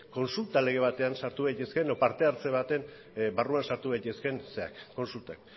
kontsulta lege batean sartu daitezkeen edo parte hartze baten barruan sartu daitezkeen kontsultak